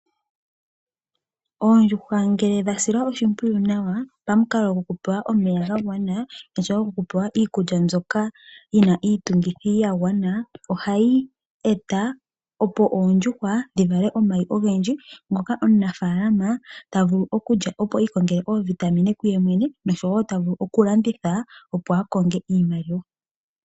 Oondjuhwa ngele dha silwa oshimpwiyu nawa pamukalo gwokupewa omeya ga gwana, osho wo oku pewa iikulya mbyoka yi na iitungithi ya gwana ,ohayi e ta opo oondjuhwa dhi vale omayi ogendji ngoka omunafaalama ta vulu okulya opo i ikongele oovitamine kuye mwene, osho wo oku landitha opo a konge iimaliwa.